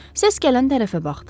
Səs gələn tərəfə baxdı.